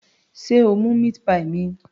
Sé o mú meat pie mi?